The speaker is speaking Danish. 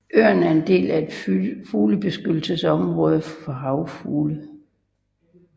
Øen er en del af et fuglebeskyttelsesområde for havfugle